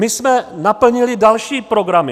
My jsme naplnili další programy.